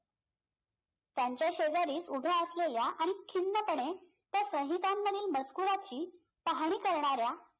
त्यांच्या शेजारीच उभ्या असलेल्या आणि खिन्नपणे त्या साहितांमधील मजकुराची पहाणी करणाऱ्या